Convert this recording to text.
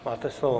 Máte slovo.